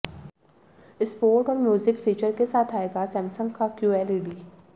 sport और music feature के साथ आएगा सैमसंग का क्यूएलईडी